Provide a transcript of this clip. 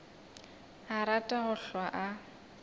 a rata go hlwa a